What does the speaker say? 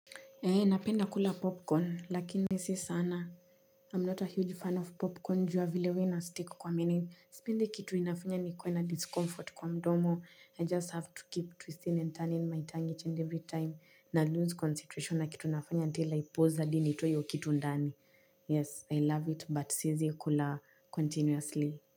Ee napenda kula popcorn lakini si sana i'm not a huge fan of popcorn juu ya vile huwa inasteak kwa meno sipendi kitu inafanya nikuwe na discomfort kwa mdomo i just have to keep twisting and turning my tongue each and every time na lose concentration na kitu nafanya until i pause hadi nitoe iyo kitu ndani yes i love it but siezi kula continuously.